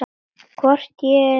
Hvort ég er heima?